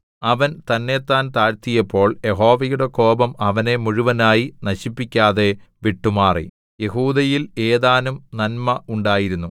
അവൻ തന്നെത്താൻ താഴ്ത്തിയപ്പോൾ യഹോവയുടെ കോപം അവനെ മുഴുവനായി നശിപ്പിക്കാതെ വിട്ടുമാറി യെഹൂദയിൽ ഏതാനും നന്മ ഉണ്ടായിരുന്നു